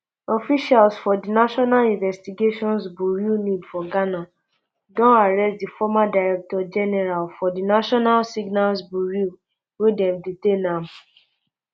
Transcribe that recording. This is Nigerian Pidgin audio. officials for di national investigations burea nib for ghana don arrest di former director general um for di national signals bureau wey dem detain am